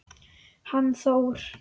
Hann Þór?